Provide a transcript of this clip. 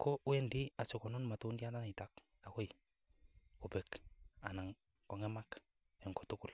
ko wendi asikonun matundianito agoi kobek anan ko ngemak en kotugul.